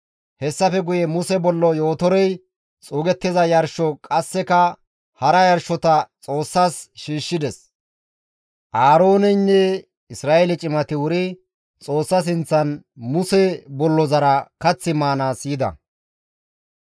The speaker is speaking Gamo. Hessafe guye Muse bollo Yootorey xuugettiza yarsho qasseka hara yarshota Xoossas shiishshides. Aarooneynne Isra7eele cimati wuri Xoossa sinththan Muse bollozara kath maanaas yida.